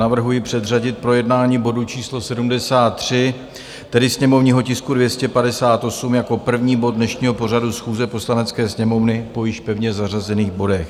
Navrhuji předřadit projednání bodu číslo 73, tedy sněmovního tisku 258, jako první bod dnešního pořadu schůze Poslanecké sněmovny po již pevně zařazených bodech.